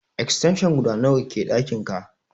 Extension guda nawa ke ɗakin ka?